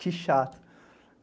Que chato.